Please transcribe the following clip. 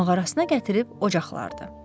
Mağarasına gətirib ocaqlardı.